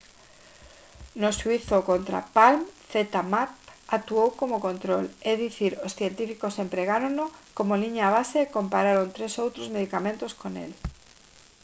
no xuízo contra palm zmapp actuou como control é dicir os científicos empregárono como liña base e compararon tres outros medicamentos con el